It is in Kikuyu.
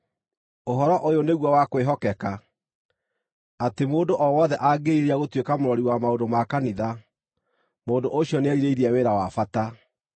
Ũhoro ũyũ nĩguo wa kwĩhokeka: Atĩ mũndũ o wothe angĩĩrirĩria gũtuĩka mũrori wa maũndũ ma kanitha, mũndũ ũcio nĩerirĩirie wĩra wa bata.